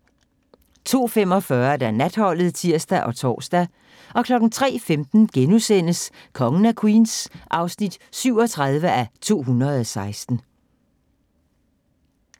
02:45: Natholdet (tir og tor) 03:15: Kongen af Queens (37:216)*